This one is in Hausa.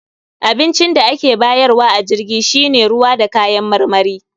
Abincin da ake bayarwa a jirgin shi ne ruwa da kayan marmari